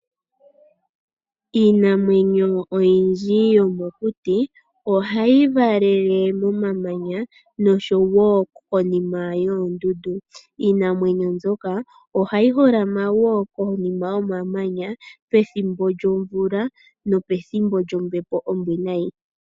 Iinamwenyo oyindji yomokuti ohayi valele momamanya, nosho wo konima yoondundu. Iinamwenyo mbyoka, oha yi holama wo konima yomamanya pethimbo lyomvula, nopethimbo lyombepo ombwiinayi.